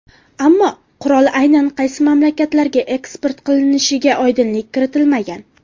Ammo, qurol aynan qaysi mamlakatlarga eksport qilinishiga oydinlik kiritilmagan.